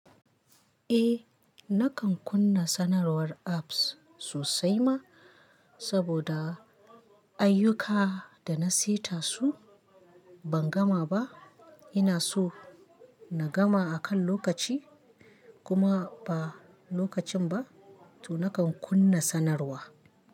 Eh nakan kunna sanarwar apps sosai ma saboda ayyuka da na seta su ban gama ba. Ina so na gama akan lokaci kuma ba lokacin ba to nakan kunna sanarwa.